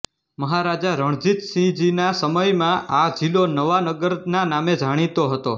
મહારાજા રણજીતસિંહજીના સમયમાં આ જિલ્લો નવાનગરના નામે જાણીતો હતો